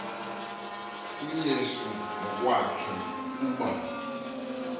uyesu ngokwakhe kuba